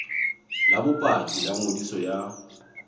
la bopaki la ngodiso ya